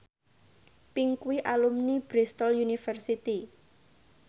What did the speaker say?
Pink kuwi alumni Bristol university